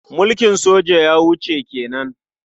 Mulkin soja ya wuce ke nan.